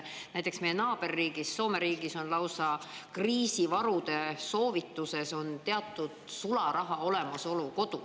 Näiteks meie naaberriigis Soomes on lausa kriisivarude soovituste seas teatud sularaha olemasolu kodus.